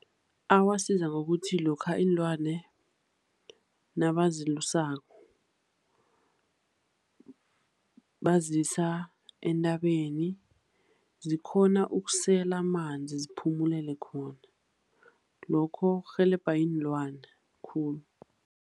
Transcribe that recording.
Awasiza ngokuthi lokha iinlwane nabazilusako bazisa entabeni zikghona ukusela amanzi, ziphumelele khona. Lokho kurhelebha iinlwane khulu.